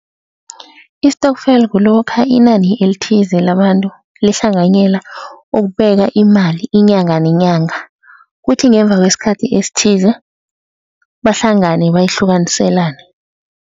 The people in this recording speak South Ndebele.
Istokfela kulokha inani elithize labantu lihlanganyela ukubeka imali inyanga nenyanga, kuthi ngemva kwesikhathi esithize bahlangane bayihlukaniselane.